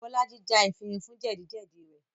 Bolaji já efinrin fún jẹ́dì-jẹ́dì rẹ̀